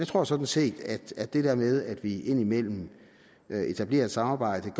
tror sådan set at det der med at vi indimellem etablerer et samarbejde